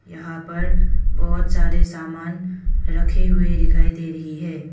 यहां पर बहुत सारे सामान रखे हुए दिखाई दे रही है।